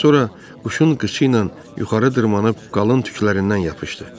Sonra quşun qıçıyıla yuxarı dırmaşıb qalın tüklərindən yapışdı.